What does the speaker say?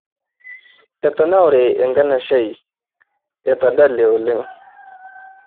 Etanaure enkanashe ai ,etadale oleng.